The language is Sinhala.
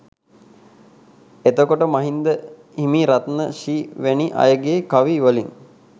එතකොට මහින්ද හිමි රත්න ශ්‍රී වැනි අයගේ කවි වලින්